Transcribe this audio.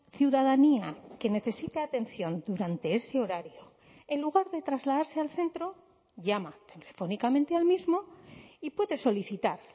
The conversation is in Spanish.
ciudadanía que necesita atención durante ese horario en lugar de trasladarse al centro llama telefónicamente al mismo y puede solicitar